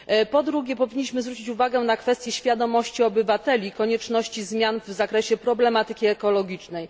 Po drugie, powinniśmy zwrócić uwagę na kwestię świadomości obywateli i konieczności zmian w zakresie problematyki ekologicznej.